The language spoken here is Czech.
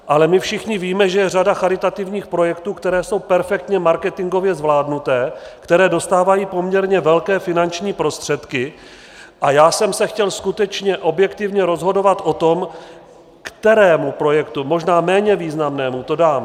Ale my všichni víme, že je řada charitativních projektů, které jsou perfektně marketingově zvládnuté, které dostávají poměrně velké finanční prostředky, a já jsem se chtěl skutečně objektivně rozhodovat o tom, kterému projektu, možná méně významnému, to dám.